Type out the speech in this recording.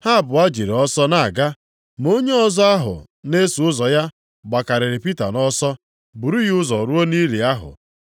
Ha abụọ jiri ọsọ na-aga, ma onye ọzọ ahụ na-eso ụzọ ya gbakarịrị Pita nʼọsọ buru ya ụzọ ruo nʼili ahụ.